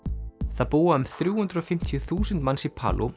það búa um þrjú hundruð og fimmtíu þúsund manns í